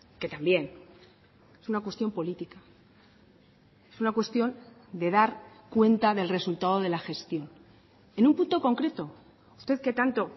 que también es una cuestión política es una cuestión de dar cuenta del resultado de la gestión en un punto concreto usted que tanto